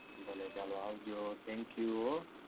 ભલે ચાલો આવ જો thank you હો